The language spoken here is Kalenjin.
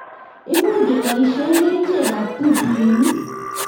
Much keboishe kerichek ab tutuinik